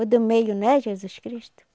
O do meio não é Jesus Cristo?